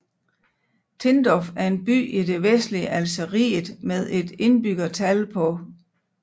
Tindouf er en by i det vestlige Algeriet med et indbyggertal på